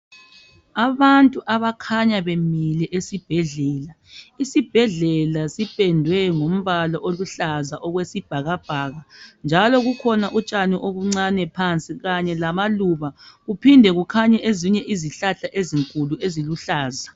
Abantu abakhanya bemile esibhedlela. Isibhedlela sipendwe ngombala oluhlaza okwesibhakabhaka njalo kukhona utshani obuncane phansi kanye lamaluba kuphinde kukhanye ezinye izihlahla ezinkulu eziluhlaza.